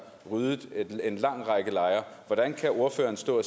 ryddet en lang række lejre hvordan kan ordføreren stå